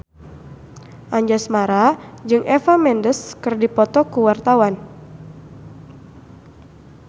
Anjasmara jeung Eva Mendes keur dipoto ku wartawan